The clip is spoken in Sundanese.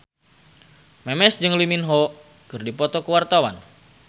Memes jeung Lee Min Ho keur dipoto ku wartawan